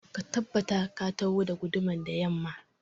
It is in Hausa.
Ka tabbata ka taho da gudumar da yamma